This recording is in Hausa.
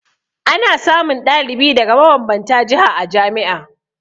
Ana samun ɗalibi daga mabanbanta jiha a jami'a